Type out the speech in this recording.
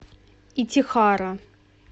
итихара